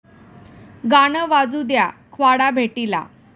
गाणं वाजू द्या...'ख्वाडा' भेटीला